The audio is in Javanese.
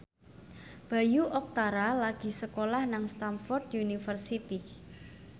Bayu Octara lagi sekolah nang Stamford University